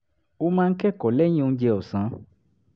ó máa ń kẹ́kọ̀ọ́ lẹ́yìn oúnjẹ ọ̀sán